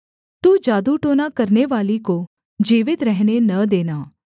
तू जादूटोना करनेवाली को जीवित रहने न देना